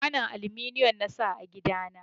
Kwanon aluminiyon na sa a gida na